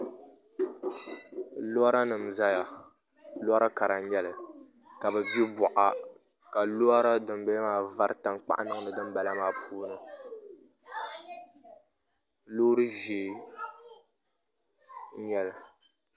Lora nim n ʒɛya lora kara n nyɛli ka bi gbi boɣa ka lora dinbala maa vari tankpaɣu niŋdi dinbala maa puuni loori ʒiɛ n nyɛli